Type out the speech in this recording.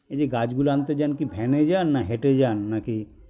এইযে গাছগুলো আনতে যান কী van -এ যান না হেঁটে যান নাকি